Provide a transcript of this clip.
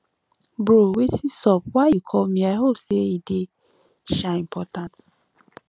bro wetin sup why you call me i hope say e dey um important